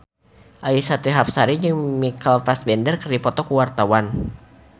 Annisa Trihapsari jeung Michael Fassbender keur dipoto ku wartawan